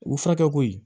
U furakɛ ko ye